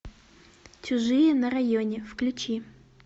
чужие на районе включи